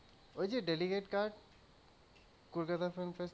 ওই যে delicate card Kolkata film festival এ,